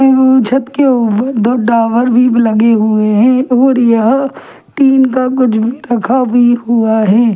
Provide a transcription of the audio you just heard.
छत के ऊपर दो टावर भी लगे हुए हैं और यहां तीन का कुछ भी रखा भी हुआ है।